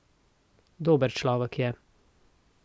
Dober človek je.